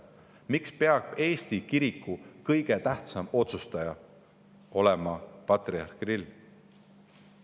Miks peab Eesti kiriku kõige tähtsam otsustaja olema patriarh Kirill?